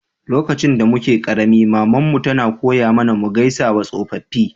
Lokacin da muke karemi, mama'n mu tana koya mana mu gaisawa tsofaffi.